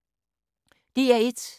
DR1